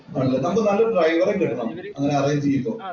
നമ്മുക്ക് നല്ല ഒരു ഡ്രൈവറെ കിട്ടണം. അങ്ങനെ അറേഞ്ച് ചെയ്യുമ്പോ